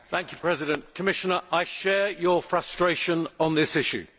Mr President, Commissioner, I share your frustration on this issue.